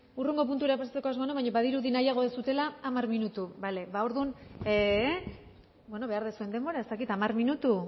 hurrengo puntura pasatzeko asmoa nuen baina badirudi nahiago duzuela hamar minutu bale ba orduan bueno behar duzuen denbora ez dakit hamar minutu